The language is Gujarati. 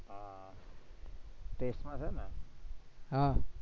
test માં છે ને? હમ